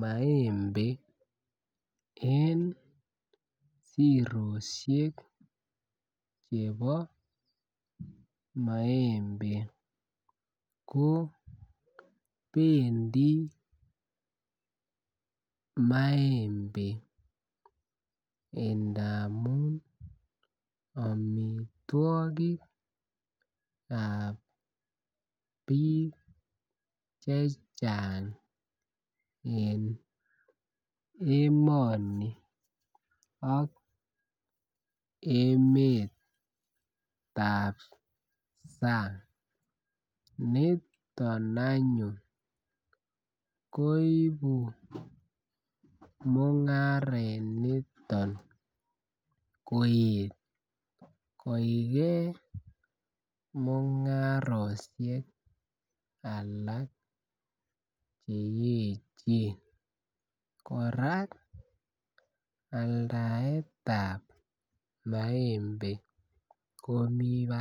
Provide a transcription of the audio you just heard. maembe en siroshek chebo maembe ko pendii maembe ndamun omitwokikab bik chechang en emoni ak emetab sang niton anyun koibu mungaraniton koib koigee mungaroshek alak cheyechen. Koraa aldaetab maembe komii barak.